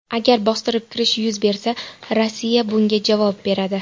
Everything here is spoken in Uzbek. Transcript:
Agar bostirib kirish yuz bersa, Rossiya bunga javob beradi.